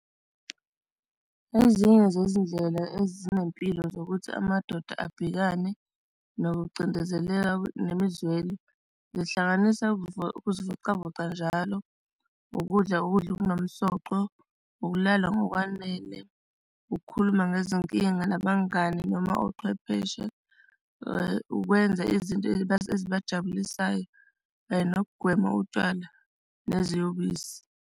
Ezinye zezindlela ezinempilo zokuthi amadoda abhekane nokucindezeleka nemizwelo zihlanganisa ukuzivocavoca njalo ukudla, ukudla okunomsoco, ukulala ngokwanele, ukukhuluma ngezinkinga nabangani noma ochwepheshe, ukwenza izinto ezibajabulisayo kanye nokugwema utshwala neziyobisi.